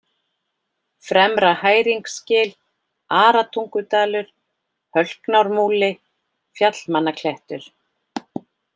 Fremra-Hæringsgil, Aratungudalur, Hölknármúli, Fjallmannaklettur